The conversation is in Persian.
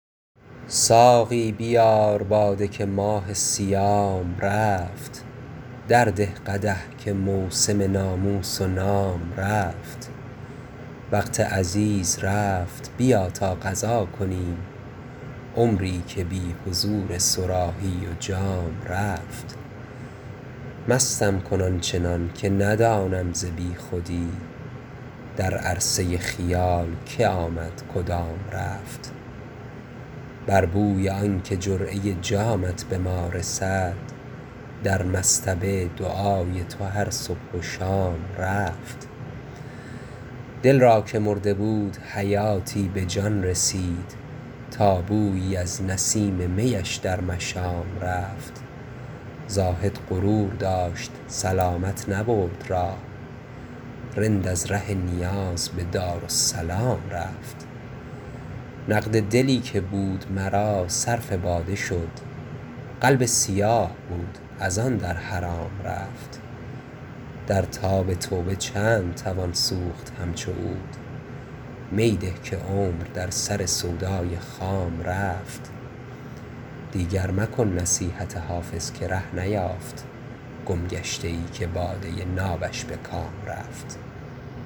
ساقی بیار باده که ماه صیام رفت درده قدح که موسم ناموس و نام رفت وقت عزیز رفت بیا تا قضا کنیم عمری که بی حضور صراحی و جام رفت مستم کن آن چنان که ندانم ز بی خودی در عرصه خیال که آمد کدام رفت بر بوی آن که جرعه جامت به ما رسد در مصطبه دعای تو هر صبح و شام رفت دل را که مرده بود حیاتی به جان رسید تا بویی از نسیم می اش در مشام رفت زاهد غرور داشت سلامت نبرد راه رند از ره نیاز به دارالسلام رفت نقد دلی که بود مرا صرف باده شد قلب سیاه بود از آن در حرام رفت در تاب توبه چند توان سوخت همچو عود می ده که عمر در سر سودای خام رفت دیگر مکن نصیحت حافظ که ره نیافت گمگشته ای که باده نابش به کام رفت